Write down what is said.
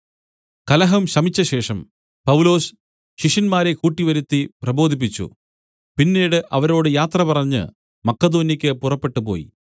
കലഹം ശമിച്ചശേഷം പൗലൊസ് ശിഷ്യന്മാരെ കൂട്ടിവരുത്തി പ്രബോധിപ്പിച്ചു പിന്നീട് അവരോട് യാത്രപറഞ്ഞ് മക്കെദോന്യെക്കു പുറപ്പെട്ടുപോയി